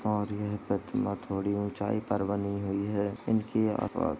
और यह प्रतिमा थोड़ी उँचाई पर बनी हुई है इनकी --